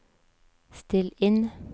still inn